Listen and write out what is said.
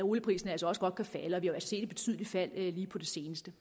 olieprisen altså også godt kan falde og vi har jo da set et betydeligt fald lige på det seneste